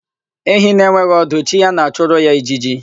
Ehi na-enweghị ọdụ, chi ya na-achụrụ ya ijiji.